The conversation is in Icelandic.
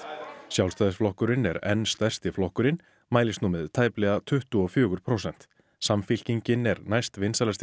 Sjálfstæðisflokkurinn sem er enn stærsti flokkurinn mælist nú með tæplega tuttugu og fjögur prósent samfylkingin er